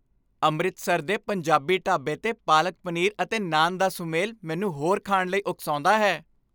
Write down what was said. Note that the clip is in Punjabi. ਅੰਮ੍ਰਿਤਸਰ ਦੇ ਪੰਜਾਬੀ ਢਾਬੇ 'ਤੇ ਪਾਲਕ ਪਨੀਰ ਅਤੇ ਨਾਨ ਦਾ ਸੁਮੇਲ ਮੈਨੂੰ ਹੋਰ ਖਾਣ ਲਈ ਉਕਸਾਉਂਦਾ ਹੈ।